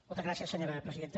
moltes gràcies senyora presidenta